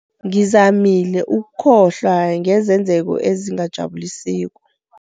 Ngizamile ukukhohlwa ngezenzeko ezingajabulisiko.